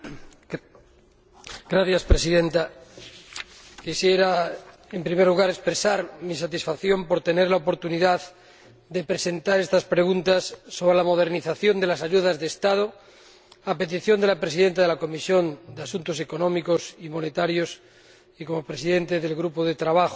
Señora Presidenta, en primer lugar quisiera expresar mi satisfacción por tener la oportunidad de presentar estas preguntas sobre la modernización de las ayudas de Estado, a petición de la presidenta de la Comisión de Asuntos Económicos y Monetarios y como presidente del grupo de trabajo sobre la competencia,